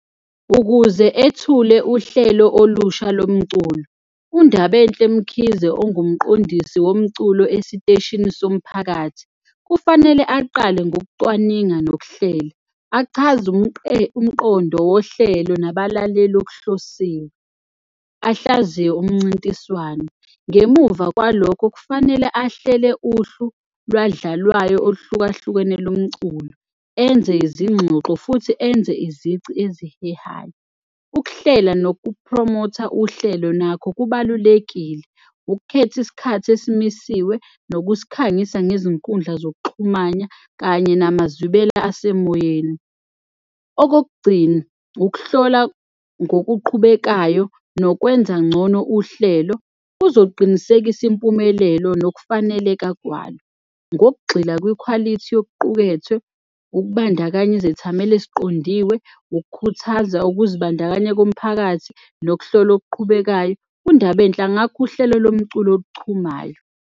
Ukuze ethule uhlelo olusha lomculo, uNdabenhle Mkhize, ongumqondisi womculo esiteshini somphakathi, kufanele aqale ngokucwaninga nokuhlela, achaze umqondo wohlelo nabalaleli okuhlosiwe, ahlaziye umncintiswano. Ngemuva kwalokho kufanele ahlele uhlu lwadlalwayo oluhlukahlukene lomculo, enze izingxoxo futhi enze izici ezihehayo. Ukuhlela nokupromotha uhlelo nakho kubalulekile, ukukhetha isikhathi esimisiwe nokusikhangisa ngezinkundla zokuxhumanya kanye namazwibela asemoyeni. Okokugcina, ukuhlola ngokuqhubekayo nokwenza ngcono uhlelo kuzoqinisekisa impumelelo nokufaneleka kwalo ngokugxila kwikhwalithi yokuqukethwe ukubandakanya izethameli eziqondiwe, ukukhuthaza ukuzibandakanya komphakathi nokuhlola okuqhubekayo, uNdabenhle angakha uhlelo lomculo oluchumayo.